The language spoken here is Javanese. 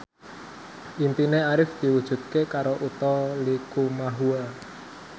impine Arif diwujudke karo Utha Likumahua